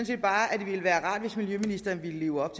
set bare at det ville være rart hvis miljøministeren ville leve op